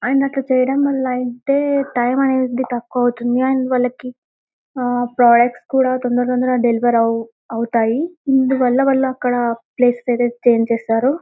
And అట్లా చేయడం వాళ్ళ అయితె టైం అనేది తక్కువ అవుతుంది. అండ్ వాళ్ళకి అ ప్రొడక్ట్స్ కూడా తొందర తొందర డెలివరీ అవువుతాయి. అందువల్ల వల్లక్కడ ప్లేస్ అయితే ఛేంజ్ చేస్తారు.